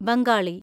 Bengali